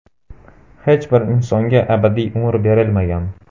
Hech bir insonga abadiy umr berilmagan.